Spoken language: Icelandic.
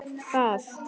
En hún er það ekki.